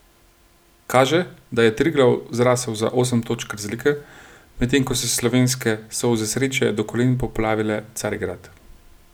Kaže, da je Triglav zrasel za osem točk razlike, medtem ko so slovenske solze sreče do kolen poplavile Carigrad.